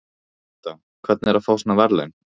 Linda: Hvernig er að fá svona verðlaun?